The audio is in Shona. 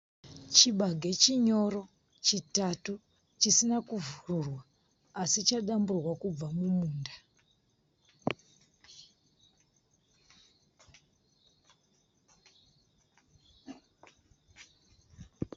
Chibage chinyoro chitatu. Chisina kuvhurwa asi chadamburwa kubva kumunda.